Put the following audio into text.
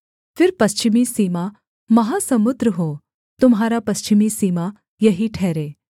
फिर पश्चिमी सीमा महासमुद्र हो तुम्हारा पश्चिमी सीमा यही ठहरे